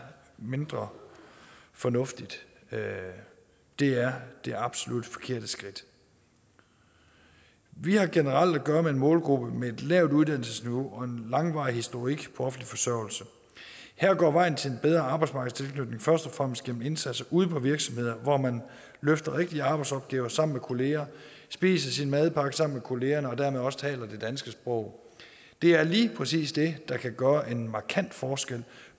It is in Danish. mindre fornuftigt det er det absolut forkerte skridt vi har generelt at gøre med en målgruppe med et lavt uddannelsesniveau og en langvarig historik på offentlig forsørgelse her går vejen til en bedre arbejdsmarkedstilknytning først og fremmest gennem indsatser ude på virksomheder hvor man løfter rigtige arbejdsopgaver sammen med kolleger spiser sin madpakke sammen med kollegerne og dermed også taler det danske sprog det er lige præcis det der kan gøre en markant forskel